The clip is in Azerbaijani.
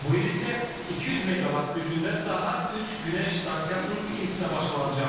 Bu il isə 200 meqavat gücündə daha üç günəş stansiyasının tikintisinə başlanılacaq.